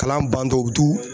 Kalan bandon u bɛ tu